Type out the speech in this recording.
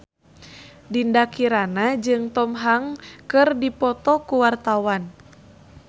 Dinda Kirana jeung Tom Hanks keur dipoto ku wartawan